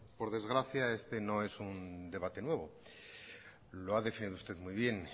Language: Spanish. por desgracia este no es un debate nuevo lo ha definido usted muy bien